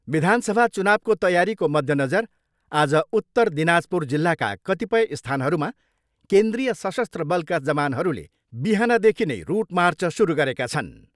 विधानसभा चुनावको तयारीको मध्यनजर आज उत्तर दिनाजपुर जिल्लाका कतिपय स्थानहरूमा केन्द्रीय सशस्त्र बलका जवानहरूले बिहानदेखि नै रुट मार्च सुरु गरेका छन्।